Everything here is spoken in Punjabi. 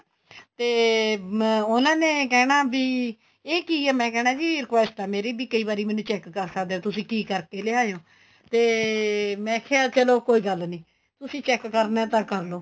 ਤੇ ਉਹਨਾ ਨੇ ਕਿਹਣਾ ਬੀ ਇਹ ਕੀ ਏ ਮੈਂ ਕਹਿਣਾ ਬੀ request ਏ ਮੇਰੀ ਬੀ ਕਈ ਵਾਰੀ ਮੈਨੂੰ check ਕਰ ਸਕਦੇ ਏ ਤੁਸੀਂ ਕੀ ਕਰ ਕੇ ਲਿਆਏ ਓ ਤੇ ਮੈਂ ਕਿਆ ਚਲੋ ਕੋਈ ਗੱਲ ਨੀਂ ਤੁਸੀਂ check ਕਰਨਾ ਤਾਂ ਕਰਲੋ